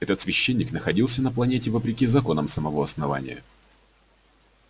этот священник находился на планете вопреки законам самого основания